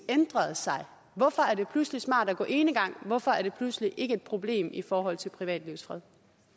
ændret sig hvorfor er det pludselig smart at gå enegang hvorfor er det pludselig ikke et problem i forhold til privatlivets fred